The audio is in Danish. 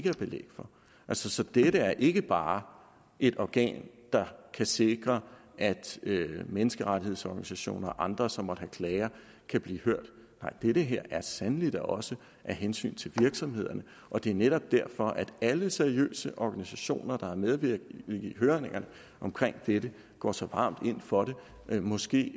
er belæg for så dette er ikke bare et organ der kan sikre at menneskerettighedsorganisationer og andre som måtte have klager kan blive hørt nej det her er sandelig da også af hensyn til virksomhederne og det er netop derfor at alle seriøse organisationer der har medvirket i høringerne om dette går så varmt ind for det måske